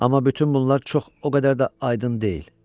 Amma bütün bunlar çox o qədər də aydın deyil.